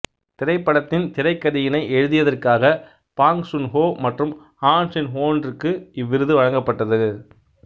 திரைப்படத்தின் திரைக்கதையினை எழுதியதற்காக பாங் சூன்ஹோ மற்றும் ஹான் சின்வொன் இற்கு இவ்விருது வழங்கப்பட்டது